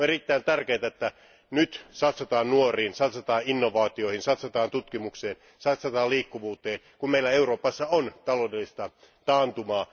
On erittäin tärkeää, että nyt satsataan nuoriin, satsataan innovaatioihin, satsataan tutkimukseen ja satsataan liikkuvuuteen, kun meillä Euroopassa on taloudellista taantumaa.